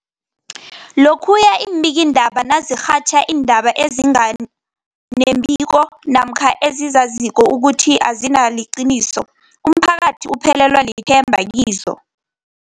Lokhuya iimbikiindaba nazirhatjha iindaba ezinga nembiko namkha ezizaziko ukuthi azisiliqiniso, umphakathi uphelelwa lithemba kizo.